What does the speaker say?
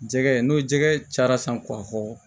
Jɛgɛ n'o jɛgɛ cara san k'a fɔ